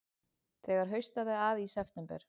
Þegar haustaði að í september